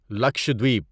Lakshadweep